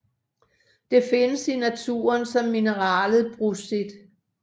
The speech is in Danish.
Det findes i naturen som mineralet brucit